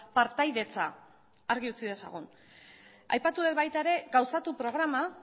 partaidetza argi utzi dezagun aipatu dut baita ere gauzatu programa